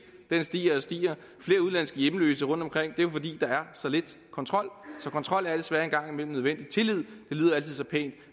stiger og stiger flere udenlandske hjemløse rundtomkring det er jo fordi der er så lidt kontrol så kontrol er desværre en gang imellem nødvendig tillid lyder altid så pænt